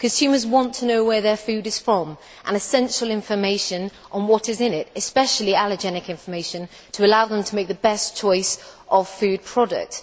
Consumers want to know where their food is from, and essential information on what is in it especially allergenic information to allow them to make the best choice of food product.